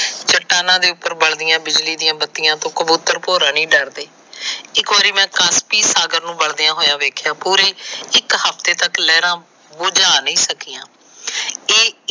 ਚਟਾਨਾ ਦੇ ਉਪਰ ਬਲਦੀਆਂ ਬਿਜਲੀ ਦੀਆਂ ਬੱਤੀਆਂ ਤੋ ਕਬੂਤਰ ਭੋਰਾ ਞੀ ਡਰਦੇ। ਇਕ ਵਾਰ ਕਾਨਸੀ ਸਾਗਰ ਨੂੰ ਬਲਦੇ ਹੋਏ ਦੇਖਿਆਂ ਪੂਰੇ ਇਕ ਮਹੀਨੇ ਤੱਕ ਲਾਈਨਾਂ ਬੁਜਾਹ ਸਕੀਆਂ।